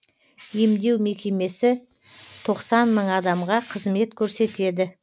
емдеу мекемесі тоқсан мың адамға қызмет көрсетеді